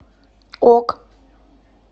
ок